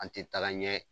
An tɛ taga ɲɛ